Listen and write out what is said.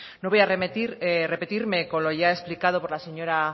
no voy a repetirme con lo ya explicado por la señora